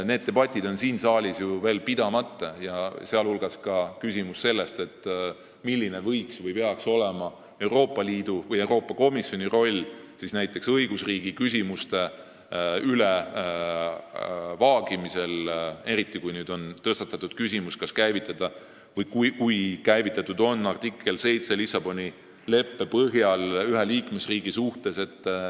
Need debatid on siin saalis ju veel pidamata, sh selle üle, milline võiks või peaks olema Euroopa Liidu või Euroopa Komisjoni roll õigusriigi küsimuste vaagimisel, eriti kui nüüdseks on rakendatud Lissaboni leppe artiklit 7 ühe liikmesriigi suhtes.